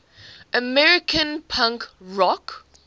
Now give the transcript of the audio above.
american punk rock